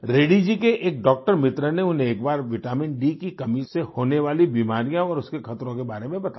रेड्डी जी के एक डॉक्टर मित्र ने उन्हें एक बार विटामिनडी की कमी से होने वाली बीमारियाँ और इसके खतरों के बारे में बताया